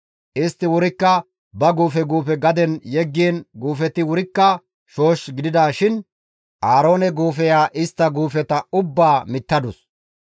Istti wurikka ba guufe guufe gaden yeggiin guufeti wurikka shoosh gidida shin Aaroone guufeya istta guufeta ubbaa mittadus.